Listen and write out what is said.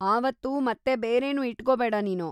ಆವತ್ತು ಮತ್ತೆ ಬೇರೆನೂ ಇಟ್ಕೋಬೇಡ‌ ನೀನು.